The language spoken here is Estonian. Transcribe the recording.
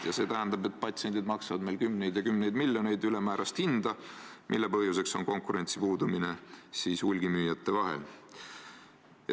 Ja see tähendab, et patsiendid maksavad meil kümneid ja kümneid miljoneid ülemäärast hinda, mille põhjuseks on konkurentsi puudumine hulgimüüjate vahel.